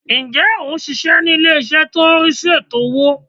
Ǹjẹ́ ò n síse ní ilé-ìṣẹ́ tó n rí sí ètò owó